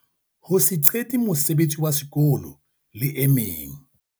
Ho se qete mosebetsi wa sekolo le e meng.